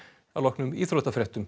að loknum íþróttafréttum